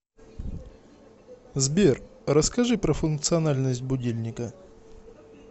сбер расскажи про функциональность будильника